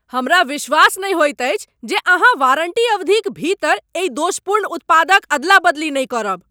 हमरा विश्वास नहि होइत अछि जे अहाँ वारण्टी अवधिक भीतर एहि दोषपूर्ण उत्पादक अदला बदली नहि करब।